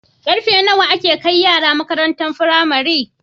Karfe nawa ake kai yara makarantar pramari